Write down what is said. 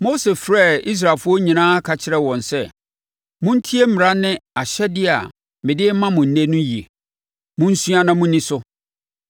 Mose frɛɛ Israelfoɔ nyinaa ka kyerɛɛ wɔn sɛ: Montie mmara ne ahyɛdeɛ a mede rema mo ɛnnɛ no yie. Monsua na monni so.